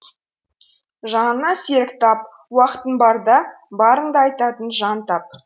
жаныңа серіктап уақытың барда барыңды айтатын жан тап